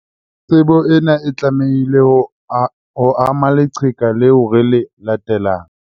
Tsebo ena e tlamehile ho ama leqheka leo re le latelang.